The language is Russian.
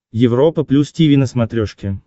европа плюс тиви на смотрешке